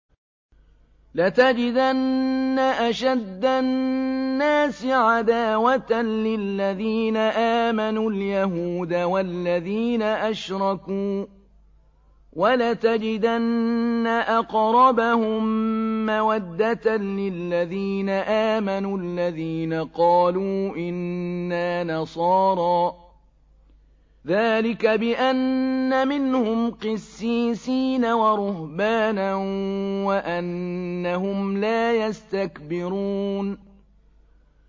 ۞ لَتَجِدَنَّ أَشَدَّ النَّاسِ عَدَاوَةً لِّلَّذِينَ آمَنُوا الْيَهُودَ وَالَّذِينَ أَشْرَكُوا ۖ وَلَتَجِدَنَّ أَقْرَبَهُم مَّوَدَّةً لِّلَّذِينَ آمَنُوا الَّذِينَ قَالُوا إِنَّا نَصَارَىٰ ۚ ذَٰلِكَ بِأَنَّ مِنْهُمْ قِسِّيسِينَ وَرُهْبَانًا وَأَنَّهُمْ لَا يَسْتَكْبِرُونَ